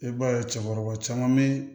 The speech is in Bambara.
I b'a ye cɛkɔrɔba caman be